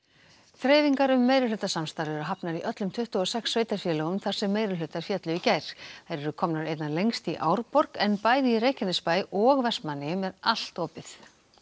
þreifingar um meirihlutasamstarf eru hafnar í öllum tuttugu og sex sveitarfélögunum þar sem meirihlutar féllu í gær þær eru komnar einna lengst í Árborg en bæði í Reykjanesbæ og Vestmannaeyjum er allt opið